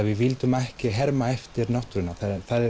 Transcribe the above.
við vildum ekki herma eftir náttúrunni það er